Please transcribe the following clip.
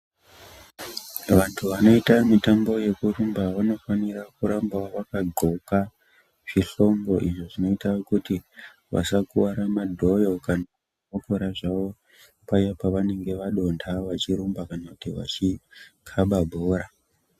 Vantu vanoita mutambo yekurumba vanofanira kuramba vakadhloka zvihlongo izvo zvinoita kuti vasakuwara madhoyo kana kokora zvavo paya pavanenge vadonta vachirumba kana kuti vachikaba bhora.